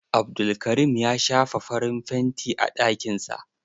Abdulkarim ya shafa farin fanti a ɗakin sa.